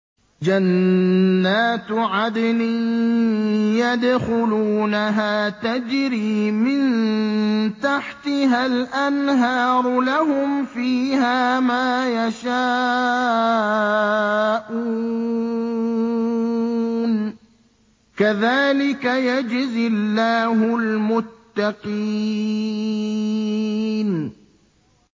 جَنَّاتُ عَدْنٍ يَدْخُلُونَهَا تَجْرِي مِن تَحْتِهَا الْأَنْهَارُ ۖ لَهُمْ فِيهَا مَا يَشَاءُونَ ۚ كَذَٰلِكَ يَجْزِي اللَّهُ الْمُتَّقِينَ